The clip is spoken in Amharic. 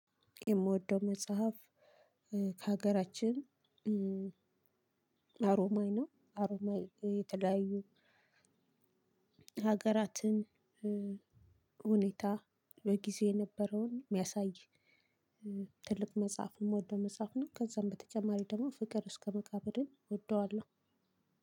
የምወደው መጽሐፍ ከሀገራችን አሮማይ ነው። አሮማይ የተለያዩ ሀገራትን ሁኔታ በጊዜ የነበረውን የሚያሳይ ትልቅ መጽሐፍ የምወደው መጽሐፍ ነው፤ ከዛም በተጨማሪ ደግሞ ፍቅር እስከመቃብርን እወደዋለሁ።